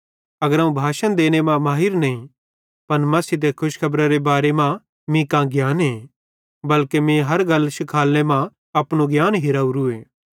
अगर अवं भाषण देने मां माहिर नईं पन मसीह ते खुशखबरारे बारे मां मीं कां ज्ञाने बल्के मीं हर गल शिखालने मां अपनू ज्ञान हिरावरूए